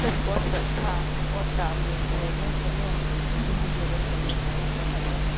அது ஏதோ சொல்லுவாங்களேன் பூர்ஜி ஏதோ சொல்லிவீங்களே அதெல்லாம் போட்டாச்சா